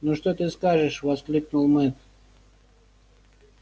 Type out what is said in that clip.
ну что ты скажешь воскликнул мэтт